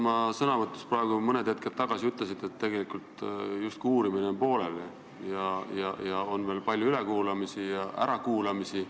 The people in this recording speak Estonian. Oma sõnavõtus mõni hetk tagasi te ütlesite, et uurimine on justkui pooleli ja ees on veel palju ärakuulamisi.